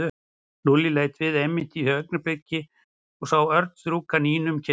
Lúlli leit við einmitt á því augnabliki og sá Örn strjúka Nínu um kinnina.